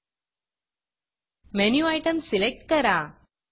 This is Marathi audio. मेनू Itemमेनु आइटम सिलेक्ट करा